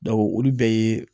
olu bɛɛ ye